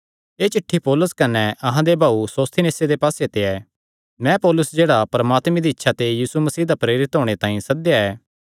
एह़ चिठ्ठी पौलुस कने अहां दे भाऊ सोस्थिनेसे दे पास्से ते ऐ मैं पौलुस जेह्ड़ा परमात्मे दी इच्छा ते यीशु मसीह दा प्रेरित होणे तांई सद्देया ऐ